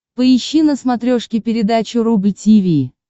поищи на смотрешке передачу рубль ти ви